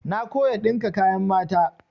Na koya ɗinka kayan mata.